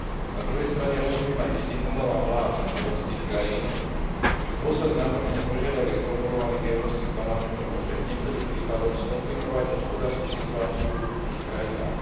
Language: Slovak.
Na druhej strane rozumiem aj istým obavám vlád európskych krajín, že dôsledné napĺňanie požiadaviek formulovaných Európskym parlamentom môže v niektorých prípadoch skomplikovať hospodársku situáciu v ich krajinách.